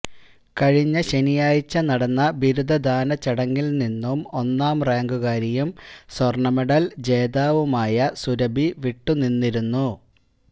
കഴിഞ്ഞ ശനിയാഴ്ച നടന്ന ബിരുദദാനച്ചടങ്ങിൽ നിന്നും ഒന്നാം റാങ്കുകാരിയും സ്വർണമെഡൽ ജേതാവുമായ സുരഭി വിട്ടുനിന്നിരുന്നു